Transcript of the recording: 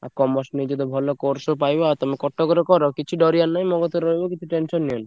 ଆଉ Commerce ନେଇଚ ତ ଭଲ course ସବୁ ପାଇବ ଆଉ ତମେ କଟକରେ କର କିଛି ଡରିଆର ନାହିଁ। ମୋ କତିରେ ରହିବ କିଛି tension ନିଅନି।